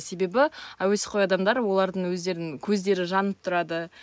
себебі әуесқой адамдар олардың өздерінің көздері жанып тұрады